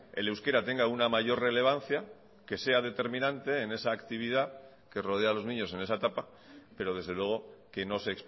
el euskera tenga una mayor relevancia que sea determinante en esa actividad que rodea a los niños en esa etapa pero desde luego que no se